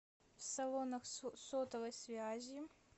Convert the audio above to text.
в салонах сотовой связи